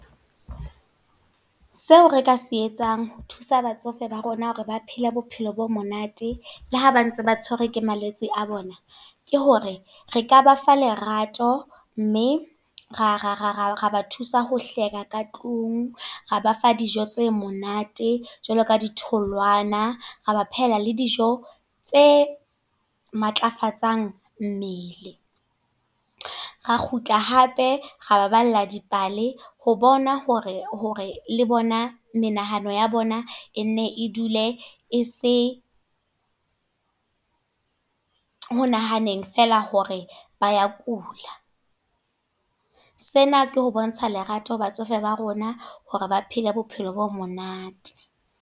Seo re ka se etsang ho thusa batsofe ba rona hore ba phele bophelo bo monate, le ha ba ntse ba tshwerwe ke malwetse a bona. Ke hore, re ka ba fa lerato mme ra ba thusa ho hleka ka tlung. Re ba fa dijo tse monate jwalo ka di tholwana, ra ba phehela le dijo tse matlafatsang mmele. Ra kgutla hape, re baballa dipale ho bona hore, hore le bona menahano ya bona e ne e dule e se ho nahaneng feela hore ba ya kula. Sena ke ho bontsha lerato ho batsofe ba rona hore ba phele bophelo bo monate.